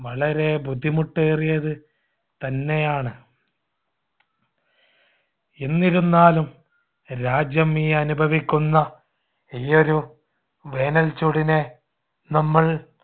വളരെ ബുദ്ധിമുട്ടേറിയതു തന്നെയാണ്. എന്നിരുന്നാലും രാജ്യം ഈ അനുഭവിക്കുന്ന ഈ ഒരു വേനൽച്ചൂടിനെ നമ്മൾ